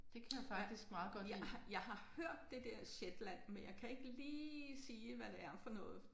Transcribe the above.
Ja jeg har jeg har hørt det der Zetland men jeg kan ikke lige sige hvad det er for noget